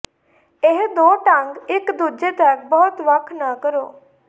ਇਹ ਦੋ ਢੰਗ ਇਕ ਦੂਜੇ ਤੱਕ ਬਹੁਤ ਵੱਖ ਨਾ ਕਰੋ